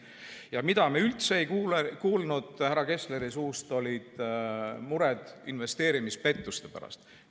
See, mille kohta me midagi ei kuulnud härra Kessleri suust, oli mure investeerimispettuste pärast.